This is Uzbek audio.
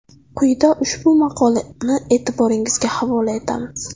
Quyida ushbu maqolani e’tiboringizga havola etamiz.